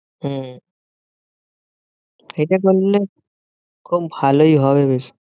হম সেটা করলে খুব ভালোই হবে বেশ।